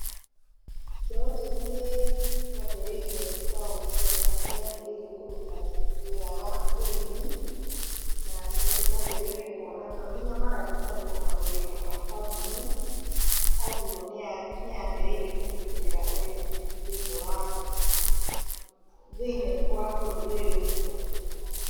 Mbeũ njĩthĩ nĩ yambĩrĩirie kwaũkia, kana nĩ yambĩrĩirie kũruta wĩra wa ũrĩmi, na nĩ yambĩrĩirie kuona to nginya magathiĩ makandĩkwo mawĩra-inĩ ma kambũni, koguo nĩ yambĩrĩirie kũnyitĩrĩra ũrĩmi thĩiniĩ wa, thĩiniĩ wa bũrũri ũyũ witũ